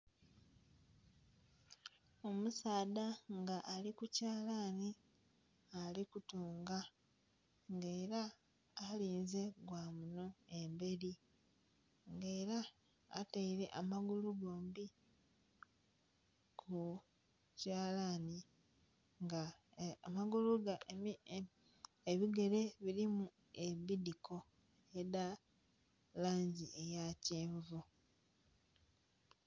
Omusaadha nga ali ku kyalani nga ali kutunga nga era alinze gwa munho emberi nga era ataire amagulu gombi ku kyalani nga ebigere bulimu ebidhiko edha langi eya kyenvu.